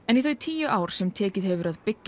en í þau tíu ár sem tekið hefur að byggja